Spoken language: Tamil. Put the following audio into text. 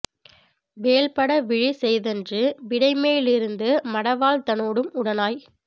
வேள் பட விழி செய்தன்று விடைமேலிருந்து மடவாள்தனோடும் உடனாய்